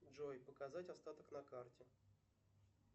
джой показать остаток на карте